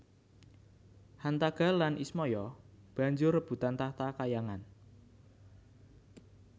Hantaga lan Ismaya banjur rebutan tahta kahyangan